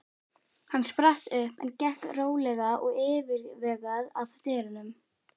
Hann spratt upp en gekk rólega og yfirvegað að dyrunum.